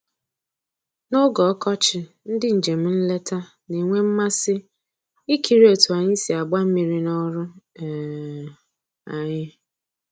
N'oge ọkọchị, ndị njem nleta na-enwe mmasị ikiri otu anyị si agba mmiri n'ọrụ um anyị